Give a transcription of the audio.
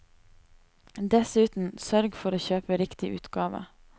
Dessuten, sørg for å kjøpe riktig utgave.